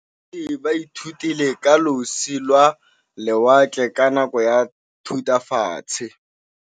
Baithuti ba ithutile ka losi lwa lewatle ka nako ya Thutafatshe.